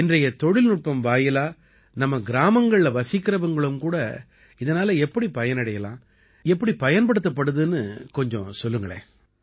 இன்றைய தொழில்நுட்பம் வாயிலா நமது கிராமங்கள்ல வசிக்கறவங்களும் கூட இதனால எப்படி பயனடையலாம் எப்படி பயன்படுத்தப்படுதுன்னு கொஞ்சம் சொல்லுங்களேன்